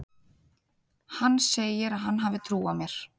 Hann segir að hann hafi trú á mér.